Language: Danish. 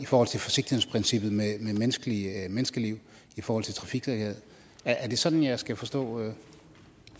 forsigtighedsprincippet med menneskeliv menneskeliv i forhold til trafiksikkerhed er det sådan jeg skal forstå